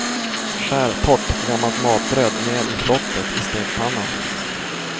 Skär torrt, gammalt matbröd ner i flottet i stekpannan.